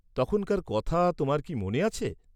তখনকার কথা তোমার কি মনে আছে?